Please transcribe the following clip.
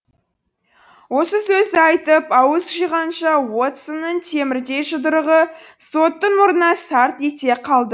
осы сөзді айтып ауыз жиғанша уотсонның темірдей жұдырығы соттың мұрнына сарт ете қалды